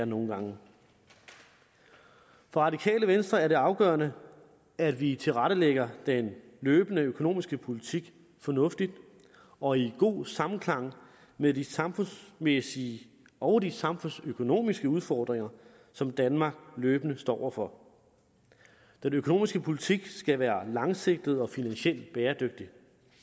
nogle gange for radikale venstre er det afgørende at vi tilrettelægger den løbende økonomiske politik fornuftigt og i god samklang med de samfundsmæssige og de samfundsøkonomiske udfordringer som danmark løbende står over for den økonomiske politik skal være langsigtet og finansielt bæredygtig